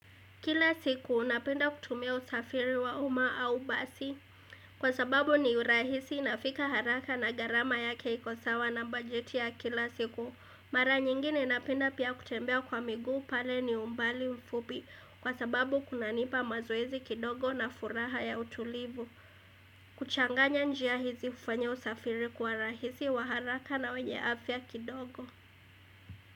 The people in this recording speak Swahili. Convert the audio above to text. Kila siku napenda kutumia usafiri wa uma au basi kwa sababu ni urahisi nafika haraka na gharama yake iko sawa na bajeti ya kila siku. Mara nyingine napenda pia kutembea kwa miguu pale ni umbali mfupi kwa sababu kunanipa mazoezi kidogo na furaha ya utulivu. Kuchanganya njia hizi ufanya usafiri kuwa rahisi wa haraka na wenye afya kidogo.